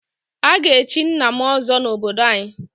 A ga-echi nna m ọzọ n'obodo anyị.